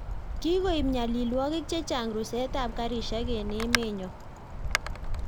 kigoib nyalilwogik chechang rusetab karishek eng emenyo